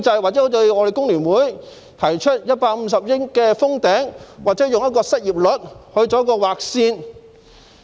或應否如我們工聯會提出，以150億元"封頂"，又或以失業率來劃線？